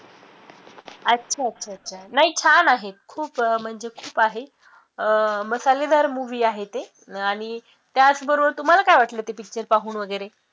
अच्छा अच्छा अच्छा नाही छान आहे, खूप म्हणजे खूप आहे, अं मसालेदार movie आहे ते आणि त्याच बरोबर तुम्हाला काय वाटलं ते picture पाहून वैगरे